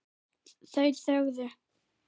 Þau þögðu.